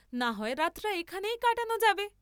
নাহয় রাতটা এখানেই কাটান যাবে?